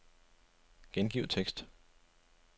Gengiv tekst.